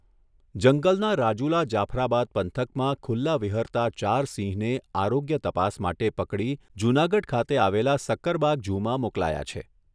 જંગલના રાજુલા જાફરાબાદ પંથકમાં ખુલ્લા વિહરતા ચાર સિંહને આરોગ્ય તપાસ માટે પકડી જૂનાગઢ ખાતે આવેલા સકકરબાગ ઝૂમાં મોકલાયા છે.